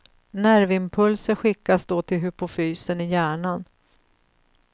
Nervimpulser skickas då till hypofysen i hjärnan.